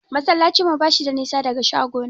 Masallacin mu bashi da nisa daga shagona.